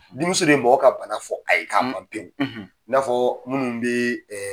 Dimiso de mɔgɔ ka bana f'ɔ a ye k'a ban pewu i n'a fɔ minnu be